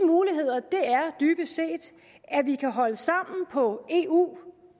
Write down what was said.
dybest set at vi kan holde sammen på eu